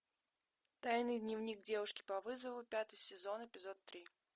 тайный дневник девушки по вызову пятый сезон эпизод три